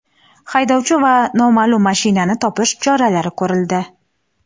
haydovchi va noma’lum mashinani topish choralari ko‘rildi.